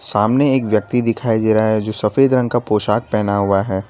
सामने एक व्यक्ति दिखाई दे रहा है जो सफेद रंग का पोशाक पहना हुआ है।